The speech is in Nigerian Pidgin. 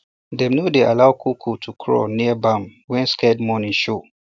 dem no dey allow to craw near barn when scared morning show